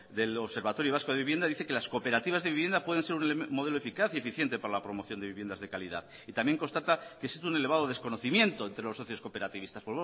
del observatorio vasco de vivienda dice que las cooperativas de vivienda pueden ser un modelo eficaz y eficiente para la promoción de viviendas de calidad y también constata que existe un elevado desconocimiento entre los socios cooperativistas